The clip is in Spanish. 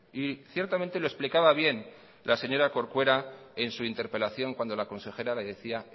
y ciertamente lo explicaba bien la señora corcuera en su interpelación cuando la consejera le decía